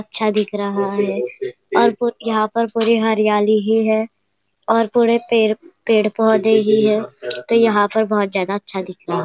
अच्छा दिख रहा है और पुर यहां पर पूरी हरियाली ही है और पूरे पेड़ पेड़ पौधे ही है तो यहां पर बहुत ज्यादा अच्छा दिख रहा --